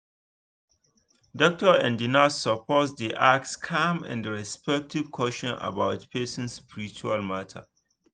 doctor and nurse suppose dey ask calm and respectful question about person spiritual matter